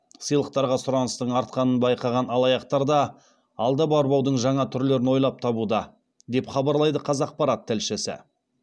сыйлықтарға сұраныстың артқанын байқаған алаяқтар да алдап арбаудың жаңа түрлерін ойлап табуда деп хабарлайды қазақпарат тілшісі